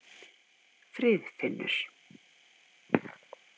Friðfinnur